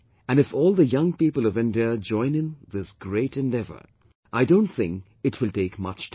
And if all the young people of India join in this great endeavour, I don't think it will take much time